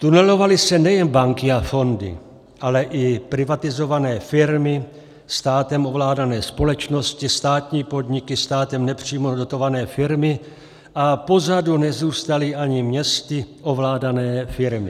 Tunelovaly se nejen banky a fondy, ale i privatizované firmy, státem ovládané společnosti, státní podniky, státem nepřímo dotované firmy a pozadu nezůstaly ani městy ovládané firmy.